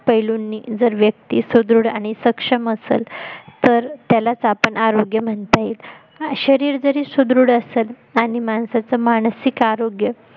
पैलूंनी जर व्यक्ति सुदृढ आणि सक्षम असेल तर त्यालाच आपण आरोग्य म्हणता येईल. शरीर जरी सुदृढ असल आणि माणसाचं मानसिक आरोग्य